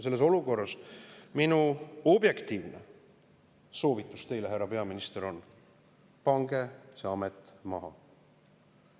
Selles olukorras, härra peaminister, on minu objektiivne soovitus teile selline: pange see amet maha!